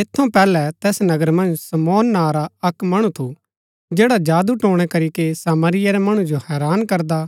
ऐत थऊँ पैहलै तैस नगरा मन्ज शमौन नां रा अक्क मणु थू जैडा जादूटोणा करीके सामरिया रै मणु जो हैरान करदा